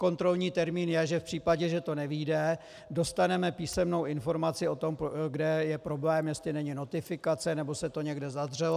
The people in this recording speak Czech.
Kontrolní termín je, že v případě, že to nevyjde, dostaneme písemnou informaci o tom, kde je problém, jestli není notifikace nebo se to někde zadřelo.